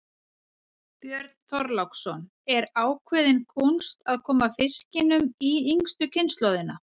Björn Þorláksson: Er ákveðin kúnst að koma fiskinum í yngstu kynslóðina?